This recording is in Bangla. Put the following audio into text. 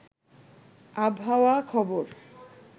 আবহাওয়া খবর